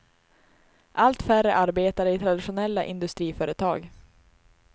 Allt färre arbetar i traditionella industriföretag.